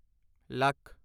lakh